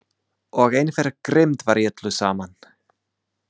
Og einhver grimmd var í öllu saman.